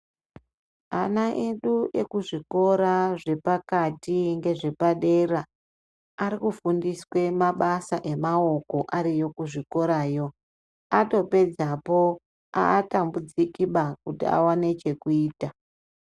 Ana edu ekuzvikora zvepakati ngezvepadera ari kufundiswe mabasa emaoko ariyo kuzvikorayo. Atopedzapo haatambudzikiba kuti awane chekuita.